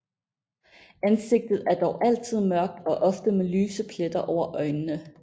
Ansigtet er dog altid mørkt og ofte med lyse pletter over øjnene